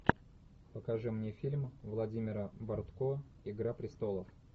покажи мне фильм владимира бортко игра престолов